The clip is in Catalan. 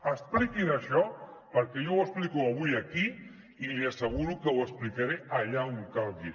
expliquin això perquè jo ho explico avui aquí i li asseguro que ho explicaré allà on calgui